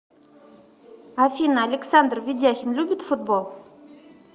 афина александр ведяхин любит футбол